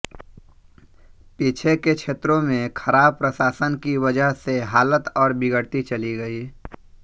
पीछे के क्षेत्रों में खराब प्रशासन की वजह से हालत और बिगड़ती चली गई